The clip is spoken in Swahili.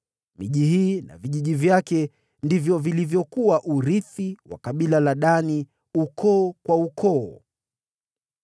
Miji hii na vijiji vyake ndio iliyokuwa urithi wa kabila la Dani, ukoo kwa ukoo.